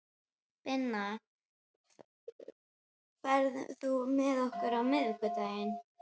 Binna, ferð þú með okkur á miðvikudaginn?